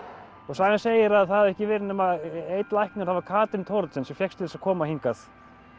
sagan segir að það hafi ekki verið nema einn læknir það var Katrín Thoroddsen sem fékkst til að koma hingað